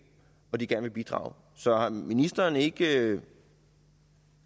hvor de gerne vil bidrage så har ministeren ikke